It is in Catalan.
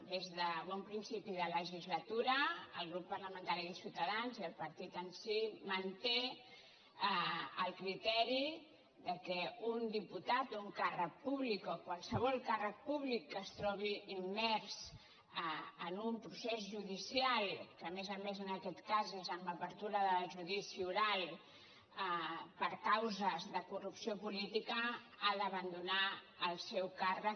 des de bon principi de legislatura el grup parlamen·tari de ciutadans i el partit en si manté el criteri que un diputat un càrrec públic o qualsevol càrrec públic que es trobi immers en un procés judicial que a més a més en aquest cas és amb apertura de judici oral per causes de corrupció política ha d’abandonar el seu càrrec